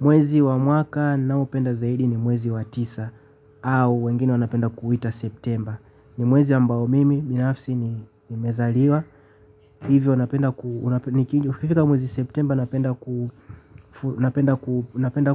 Mwezi wa mwaka naopenda zaidi ni mwezi wa tisa au wengine wanapenda kuita Septemba. Ni mwezi ambao mimi, mimi binafsi, nimezaliwa. Hivyo, napenda ukifika mwezi Septemba, napenda